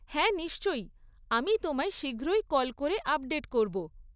হ্যাঁ নিশ্চয়ই, আমি তোমায় শীঘ্রই কল করে আপডেট করব।